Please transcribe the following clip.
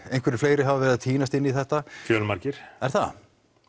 einhverjir fleiri hafa verið að týnast inn í þetta fjölmargir er það